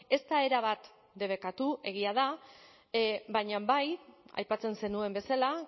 ez da erabat debekatu egia da baina bai aipatzen zenuen bezala